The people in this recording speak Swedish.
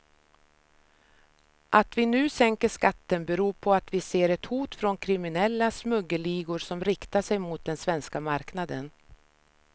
Att vi nu sänker skatten beror på att vi ser ett hot från kriminella smuggelligor som riktar sig mot den svenska marknaden.